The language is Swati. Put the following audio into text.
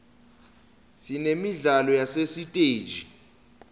sinemidlalo yasesiteji